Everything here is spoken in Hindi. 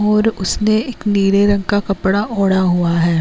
और उसने एक नीले रंग का कपड़ा ओढा हुआ है।